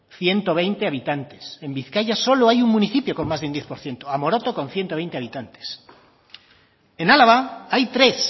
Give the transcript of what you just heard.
ciento veinte habitantes en bizkaia solo hay un municipio con más de un diez por ciento amoroto con ciento veinte habitantes en álava hay tres